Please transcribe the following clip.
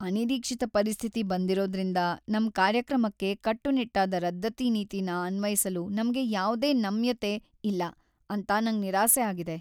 ಅನಿರೀಕ್ಷಿತ ಪರಿಸ್ಥಿತಿ ಬಂದಿರೋದ್ರಿಂದ ನಮ್ ಕಾರ್ಯಕ್ರಮಕ್ಕೆ ಕಟ್ಟುನಿಟ್ಟಾದ ರದ್ದತಿ ನೀತಿನ ಅನ್ವಯಿಸಲು ನಮ್ಗೆ ಯಾವ್ದೇ ನಮ್ಯತೆ ಇಲ್ಲ ಅಂತ ನಂಗ್ ನಿರಾಸೆ ಆಗಿದೆ.